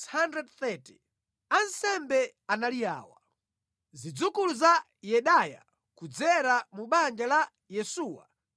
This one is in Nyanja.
Ansembe anali awa: Zidzukulu za Yedaya (kudzera mu banja la Yesuwa) 973